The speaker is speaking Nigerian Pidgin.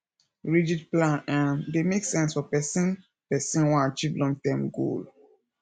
rigid plan um dey make sense for person person wan achieve long term goal